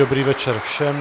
Dobrý večer všem.